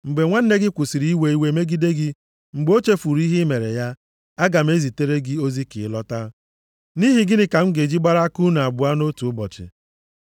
Mgbe nwanne gị kwụsịrị iwe iwe megide gị, mgbe o chefuru ihe i mere ya, aga m ezitere gị ozi ka ị lọta. Nʼihi gịnị ka m ga-eji gbara aka unu abụọ nʼotu ụbọchị.”